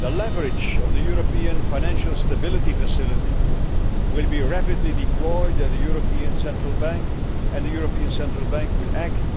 The leverage of the European Financial Stability Facility will be rapidly deployed at the European Central Bank, and the European Central Bank will act